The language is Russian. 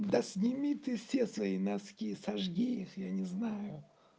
да сними ты все свои носки сожги их я не знаю